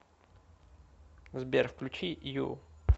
сбер включи ю